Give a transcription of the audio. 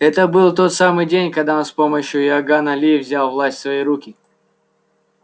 это был тот самый день когда он с помощью иоганна ли взял власть в свои руки